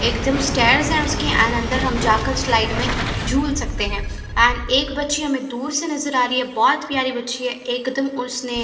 एक दम स्टैंड है एंड अंदर हम जाकर स्लाइड में हम झूल सकते हैं एंड एक बच्ची हमें दूर से नजर आ रही है बहुत प्यारी बच्ची है और एकदम उसने --